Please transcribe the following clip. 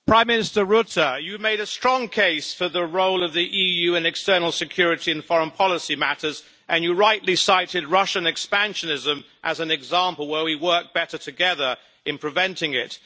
Mr President, Prime Minister Rutte, you have made a strong case for the role of the EU in external security and foreign policy matters, and you rightly cited Russian expansionism as an example where we work better together in preventing it.